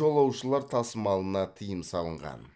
жолаушылар тасымалына тыйым салынған